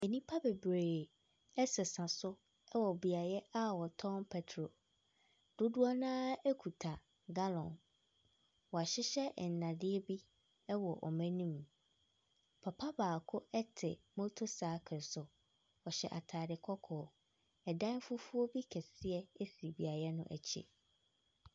Nnipa bebree ɛsesa so ɛwɔ beaeɛ a wɔtɔn pɛtrol. Dodoɔ naa ekita galɔn. Wahyehyɛ nnadeɛ bi ɛwɔ ɔmo anim. Papa baako ɛte moto saekel so. Ɔhyɛ ataade kɔkɔɔ. Ɛdan fufuo bi kɛseɛ esi beaeɛ no akyi.